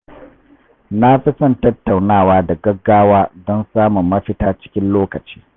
Na fi son tattaunawa da gaggawa don samun mafita cikin lokaci.